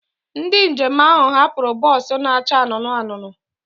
Ndị njem ahụ hapụrụ bọs na-acha anụnụ anụnụ.